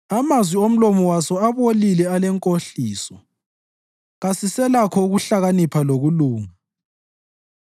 Amazwi omlomo waso abolile alenkohliso; kasiselakho ukuhlakanipha lokulunga.